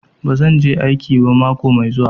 Bazan je aiki mako mai zuwa ba.